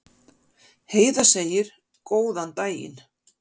Heiða segir góðan daginn!